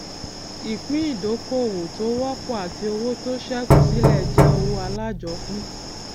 ìpín ìdókoòwò tó wọpọ àti owó tó ṣẹkù sílẹ jẹ owó alájọpín